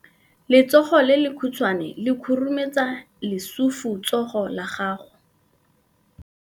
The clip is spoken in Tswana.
Letsogo le lekhutshwane le khurumetsa lesufutsogo la gago.